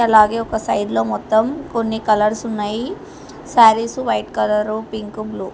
అలాగే ఒక సైడ్ లో మొత్తం కొన్ని కలర్స్ ఉన్నాయి సారీసు వైట్ కలరు పింకు బ్లూ .